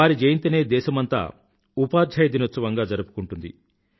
వారి జయంతినే దేశమంతా ఉపాధ్యాయ దినోత్సవంగా జరుపుకుంటుంది